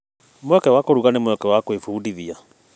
Mweke wa kũruga nĩ mweke wa gwĩbundithia.